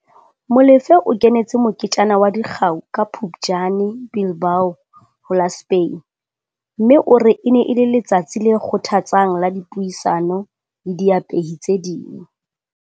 Molefe o kenetse moketjana wa dikgau ka Phuptjane Bilbao, ho la Spain, mme o re e ne e le letsatsi le kgothatsang la dipuisano le diapehi tse ding.